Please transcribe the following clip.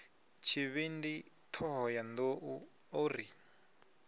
tshivhindi thohoyanḓ ou o ri